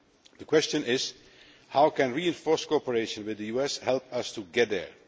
The question is how can reinforced cooperation with the US help us to get there?